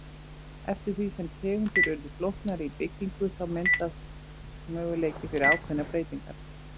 Eftir því sem tegundir urðu flóknari í byggingu þá myndaðist möguleiki fyrir ákveðnar breytingar.